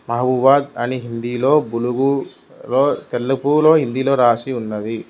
మహబూబాద్ అని హిందీలో భూలుగు లొ తెలుగు లో రాసి ఉన్నది.